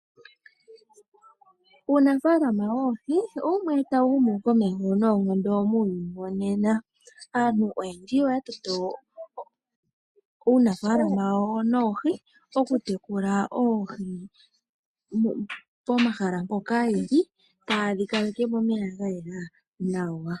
Uunafaalama woohi owumwe tawu humu komeho noonkondo muuyuni wonena. Aantu oyendji oya toto uunafaalama wayo noohi oku tekula oohi pomahala mpoka yeli taya adhika nomeya ga yela nawa.